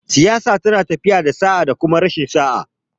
Siyasa yana tafiya da sa'a da kuma rashin sa'a